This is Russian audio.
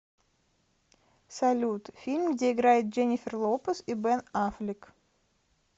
салют фильм где играет дженнифер лопез и бен аффлек